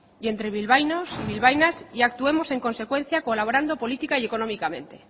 y entre bilbaínos y bilbaínas y actuemos en consecuencia colaborando política y económicamente